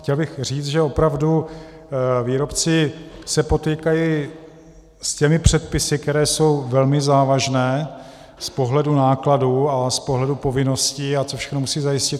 Chtěl bych říct, že opravdu výrobci se potýkají s těmi předpisy, které jsou velmi závažné z pohledu nákladů a z pohledu povinností, a co všechno musí zajistit.